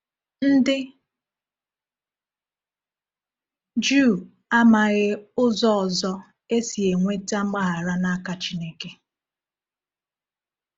Ndị Juu amaghi ụzọ ọzọ e si enweta mgbaghara n’aka Chineke.